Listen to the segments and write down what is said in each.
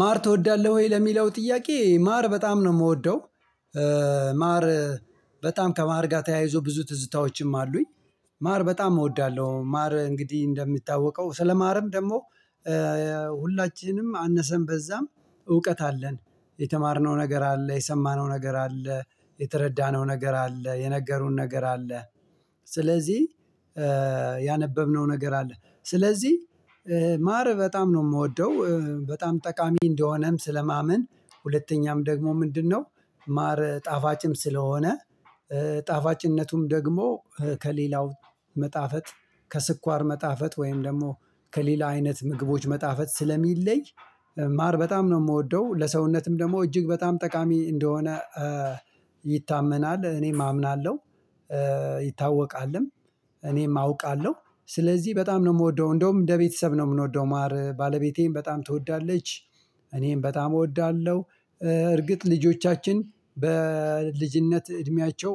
ማር ትወዳለህ ወይ? ለሚለው ጥያቄ ማር በጣም ነው ምወደው። ማር በጣም ከማር ጋር ተያይዞ ብዙ ትዝታዎችም አሉኝ ማር በጣም እወዳለሁ። ማር እንግዲህ እንደሚታወቀው ስለማርም ደግሞ ሁላችንም አነሰም በዛም እውቀት አለን። የተማርነው ነገር አለ፣ የሰማነው ነገር አለ፣ የተረዳነው ነገር አለ፣ የነገሩን ነገር አለ። ስለዚህ ያነበብነው ነገር አለ። ስለዚህ ማር በጣም ነው ምወደው በጣም ጠቃሚ እንደሆነም ስለማምን ሁለተኛም ደግሞ ምንድነው? ማር ጣፋጭም ስለሆነ ጣፋጭነቱም ደግሞ ከሌላው መጣፈጥ ከስኳር መጣፈጥ ወይም ደግሞ ከሌላ አይነት ምግቦች መጣፈጥ ስለሚለይ ማር በጣም ነው ምወደው። ለሰውነትም ደግሞ እጅግ በጣም ጠቃሚ እንደሆነ ይታመናል እኔም አምናለሁ። ይታወቃልም እኔም አውቃለሁ። ስለዚህ በጣም ነው ምወደው እንደውም እንደ ቤተሰብ ነው ምንወደው ማር ባለቤቴ በጣም ትወዳለች። እኔም በጣም እወዳለሁ። እርግጥ ልጆቻችን በልጅነት እድሜያቸው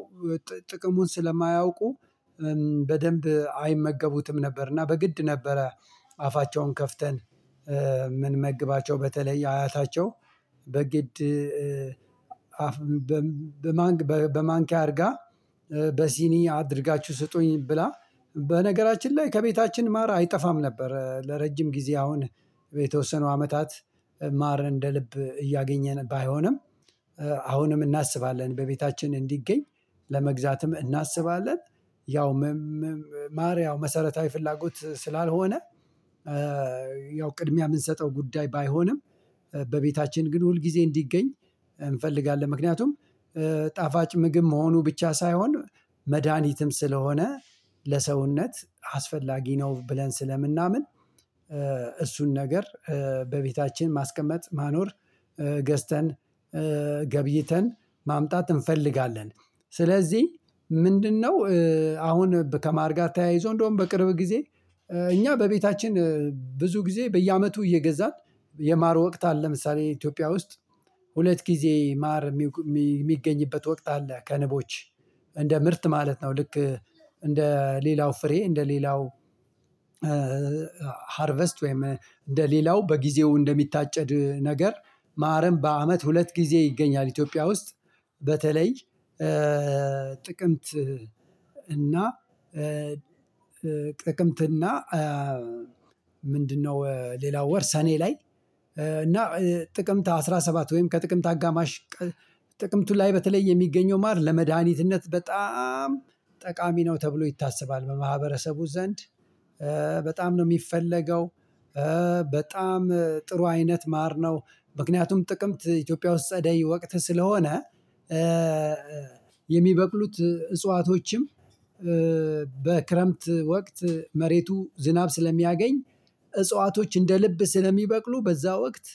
ጥቅሙን ስለማያውቁ በደንብ አይመገቡትም ነበር እና በግድ ነበረ አፋቸውን ከፍተን ምንመግባቸው በተለይ አያታቸው በግድ በማንኪያ አድርጋ በሲኒ አድርጋችሁ ስጡኝ ብላ በነገራችን ላይ ከቤታችን ማረ አይጠፋም ነበር ለረጅም ጊዜ አሁን የተወሰኑ አመታት ማር እንደ ልብ እያገኘን ባይሆንም አሁንም እናስባለን በቤታችን እንዲገኝ ለመግዛትም እናስባለን። ያው ማር ያው መሰረታዊ ፍላጎት ስላልሆነ ያው ቅድሚያ ምንሰጠው ጉዳይ ባይሆንም በቤታችን ግን ሁል ጊዜ እንዲገኝ እንፈልጋለን። ምክንያቱም ጣፋጭ ምግብ መሆኑ ብቻ ሳይሆን መድሃኒትም ስለሆነ ለሰውነት አስፈላጊ ነው ብለን ስለምናምን እሱን ነገር በቤታችን ማስቀመጥ ማኖር ገዝተን ገብይተን ማምጣት እንፈልጋለን። ስለዚህ ምንድነው አሁን ከማር ጋር ተያይዞ እንደውም በቅርብ ጊዜ እኛ በቤታችን ብዙ ጊዜ በየአመቱ እየገዛን የማር ወቅት አለ። ለምሳሌ ኢትዮጵያ ውስጥ ሁለት ጊዜ ማር የሚገኝበት ወቅት አለ ከንቦች እንደ ምርት ማለት ነው። ልክ እንደ ሌላው ፍሬ እንደ ሌላው ሃርቨስት ወይም እንደ ሌላው በጊዜው እንደሚታጨድ ነገር ማርም በአመት ሁለት ጊዜ ይገኛል ኢትዮጵያ ውስጥ። በተለይ ጥቅምት እና ጥቅምት እና ሌላው ወር ሰኔ ላይ እና ጥቅምት አስራ ሰባት ወይም ከጥቅምት አጋማሽ ጥቅምት ላይ በተለይ የሚገኘው ማር ለመድኃኒትነት በጣም ጠቃሚ ነው ተብሎ ይታሰባል። በማህበረሰቡ ዘንድ በጣም ነው ሚፈለገው፣ በጣም ጥሩ አይነት ማር ነው። ምክንያቱም ጥቅምት ኢትዮጵያ ውስጥ ጸደይ ወቅት ስለሆነ የሚበቅሉት እጽዋቶችም በክረምት ወቅት መሬቱ ዝናብ ስለሚያገኝ እጽዋቶች እንደ ልብ ስለሚበቅሉ በዛ ወቅት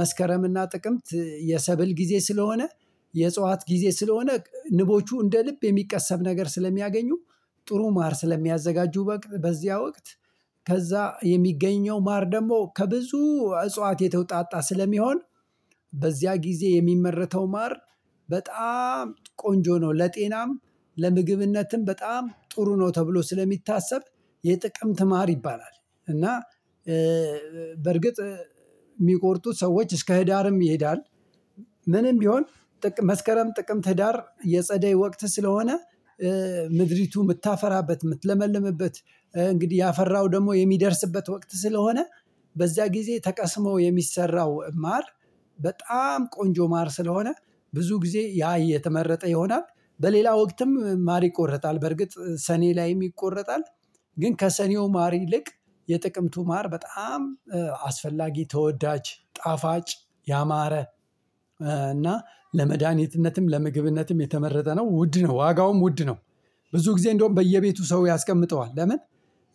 መስከረም እና ጥቅምት የሰብል ጊዜ ስለሆነ የእጽዋት ጊዜ ስለሆነ ንቦቹ እንደ ልብ የሚቀሰም ነገር ስለሚያገኙ ጥሩ ማር ስለሚያዘጋጁ በዚያ ወቅት ከዛ የሚገኘው ማር ደግሞ ከብዙ እጽዋት የተወጣጣ ስለሚሆን በዚያ ጊዜ የሚመረተው ማር በጣም ቆንጆ ነው። ለጤናም፣ ለምግብነትም በጣም ጥሩ ነው ተብሎ ስለሚታሰብ የጥቅም ትማር ይባላል። እና በርግጥ ሚቆርጡ ሰዎች እስከ ህዳርም ይሄዳል ምንም ቢሆን መስከረም፣ ጥቅምት፣ ህዳር የጸደይ ወቅት ስለሆነ ምድሪቱ ምታፈራበት፣ ምትለመልምበት እንግዲህ ያፈራው ደግሞ የሚደርስበት ወቅት ስለሆነ በዚያ ጊዜ ተቀስሞ የሚሰራው ማር በጣም ቆንጆ ማር ስለሆነ ብዙ ጊዜ ያ እየተመረጠ ይሆናል። በሌላ ወቅትም ማር ይቆረጣል በርግጥ ሰኔ ላይም ይቆረጣል። ግን ከሰኔው ማር ይልቅ የጥቅምቱ ማር በጣም አስፈላጊ፣ ተወዳጅ፣ ጣፋጭ ያማረ እና ለመድኃኒትነትም፣ ለምግብነትም የተመረጠ ነው። ውድ ነው ዋጋውም ውድ ነው። ብዙ ጊዜ እንደውም በየቤቱ ሰው ያስቀምጠዋል። ለምን?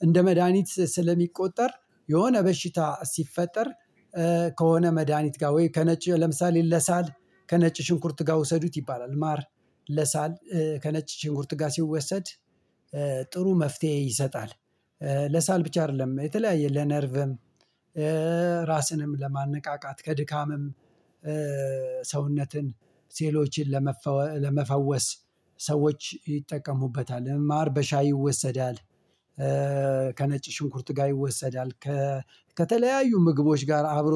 እንደ መድሃኒት ስለሚቆጠር የሆነ በሽታ ሲፈጠር ከሆነ መድሃኒት ጋር ወይ ከነጭ ለምሳሌ ለሳል ከነጭ ሽንኩርት ጋር ውሰዱት ይባላል። ማር ለሳል ከነጭ ሽንኩርት ጋር ሲወሰድ ጥሩ መፍትሄ ይሰጣል። ለሳል ብቻ አይደለም የተለያየ ለነርቭም ራስንም ለማነቃቃት ከድካምም ሰውነትን ሴሎችን ለመፈወ ለመፈወስ ሰዎች ይጠቀሙበታል። ማር በሻይ ይወሰዳል። ከነጭ ሽንኩርት ጋር ይወሰዳል። ከተለያዩ ምግቦች ጋር አብሮ